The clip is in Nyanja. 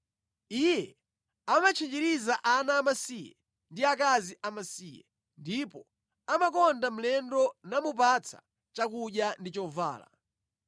Iye amatchinjiriza ana amasiye ndi akazi amasiye, ndipo amakonda mlendo namupatsa chakudya ndi chovala.